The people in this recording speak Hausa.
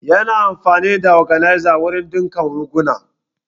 Ya na amfani da organza wurin ɗinka riguna